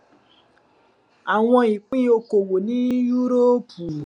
àwọn ipin okowo ní yúróòpù